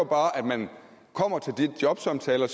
bare at man kommer til de jobsamtaler